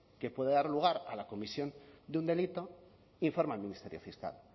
que puede dar lugar a la comisión de un delito informa al ministerio fiscal